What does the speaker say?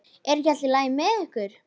Er ekki allt í lagi með ykkur?